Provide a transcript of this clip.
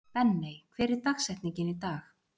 Benney, hver er dagsetningin í dag?